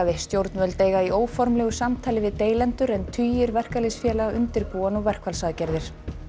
stjórnvöld eiga í óformlegu samtali við deilendur en tugir verkalýðsfélaga undirbúa verkfallsaðgerðir